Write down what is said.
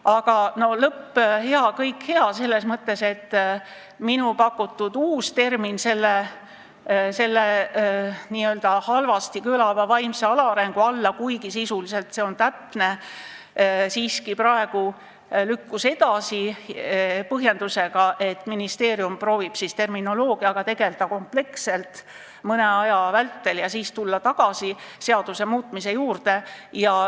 Aga lõpp hea, kõik hea, selles mõttes, et selle n-ö halvasti kõlava väljendi "vaimne alaareng" asendamine – kuigi sisuliselt on see täpne – lükkus siiski praegu edasi, seda põhjendusega, et ministeerium proovib terminoloogiaga kompleksselt mõne aja vältel tegelda ja siis tulla tagasi seaduse muutmise juurde.